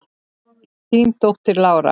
Þín dóttir, Lára.